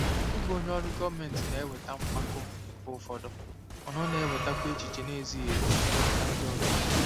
Ịbụ onye ọrụ gọọmentị na-eweta mpako mgbe ụfọdụ, mana ọ na-ewetakwa echiche na-ezighị ezi site n'aka ndị ọzọ.